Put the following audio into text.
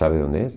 Sabe onde és?